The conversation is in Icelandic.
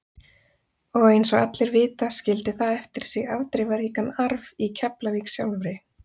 Og eins og allir vita skildi það eftir sig afdrifaríkan arf í Keflavík sjálfri.